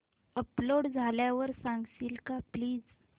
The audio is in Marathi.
अपलोड झाल्यावर सांगशील का प्लीज